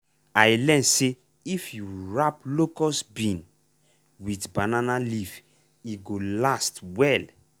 i learn say if you wrap locust bean with banana leaf e go last well.